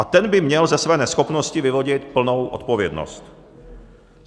A ten by měl ze své neschopnosti vyvodit plnou odpovědnost.